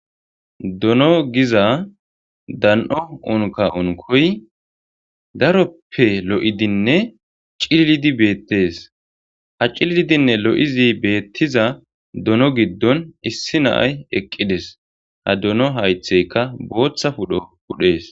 Dono giza dan'o unka unkoy daroppe lo'idinne cilidi beetes ha cilidinne lo'izi beetiza dono gidon issi na'ay eqqides ha dono haytheykka bootha pudho pudhes.